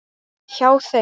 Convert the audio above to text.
Hjá þeim.